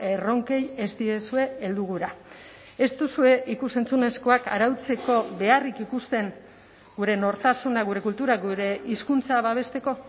erronkei ez diezue heldu gura ez duzue ikus entzunezkoak arautzeko beharrik ikusten gure nortasuna gure kultura gure hizkuntza babesteko